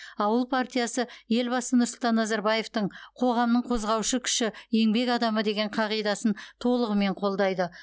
ауыл партиясы елбасы нұрсұлтан назарбаевтың қоғамның қозғаушы күші еңбек адамы деген қағидасын толығымен қолдайды